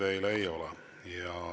Küsimusi teile ei ole.